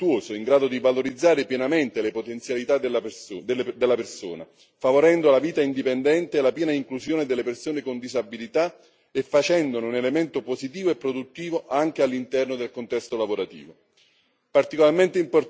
Va innescato un circolo virtuoso in grado di valorizzare pienamente le potenzialità della persona, favorendo la vita indipendente e la piena inclusione delle persone con disabilità e facendone un elemento positivo e produttivo anche all'interno del contesto lavorativo.